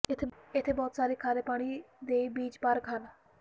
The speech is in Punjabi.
ਇੱਥੇ ਬਹੁਤ ਸਾਰੇ ਖਾਰੇ ਪਾਣੀ ਦੇ ਬੀਚ ਪਾਰਕ ਹਨ